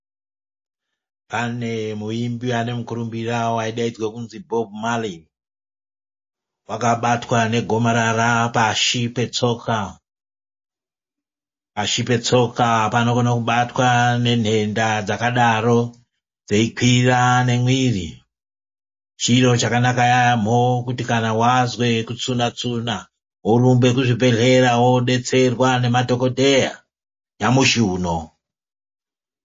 Pane muimbi ane mukurumbira waidaidzwe kuzi Bob Marley wakabatwa negomarara pashi petsoka ,pashi petsoka panokone kubatwa nenhenda dzakadaro dzeikwira nemwiri ,chiro chakanaka yaamho kuti kana waze kutsunatsuna worumba kuchibhehleya wodetserwa ngemadhokodheya nyamushi uno.